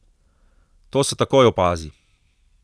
To se takoj opazi.